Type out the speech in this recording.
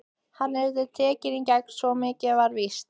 Hann yrði tekinn í gegn, svo mikið var víst.